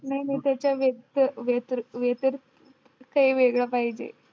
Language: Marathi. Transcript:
नाय नाय ते तर वेगळं पाहिजे